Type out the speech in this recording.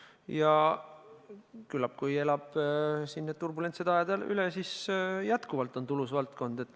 Ja kui see elab need turbulentsed ajad üle, siis küllap on see edaspidigi tulus valdkond.